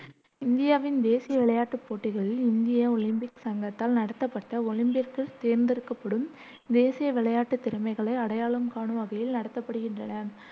இந்தியாவின் தேசிய விளையாட்டுப் போட்டிகளில் இந்திய ஒலிம்பிக் சங்கத்தால் நடத்தப்பட்ட, ஒலிம்பிக்கிற்குத் தேர்ந்தெடுக்கப்படும் தேசிய விளையாட்டுத் திறமைகளை அடையாளம் காணும் வகையில் நடத்தப்படுகின்றன.